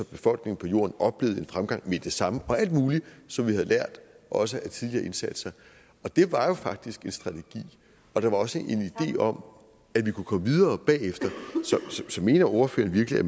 befolkningen på jorden oplevede en fremgang med det samme og alt muligt som vi havde lært også af tidligere indsatser det var jo faktisk en strategi og der var også en idé om at vi kunne komme videre bagefter så mener ordføreren virkelig at